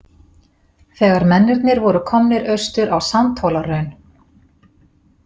Þegar mennirnir voru komnir austur á Sandhólahraun.